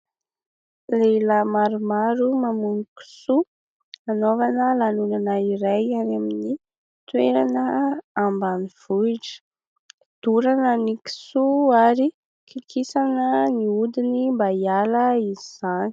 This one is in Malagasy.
Lehilahy maromaro mamono kisoa hanaovana lanonana iray any amin'ny toerana ambanivohitra. Dorana ny kisoa ary kikisana ny hodiny mba hiala izany.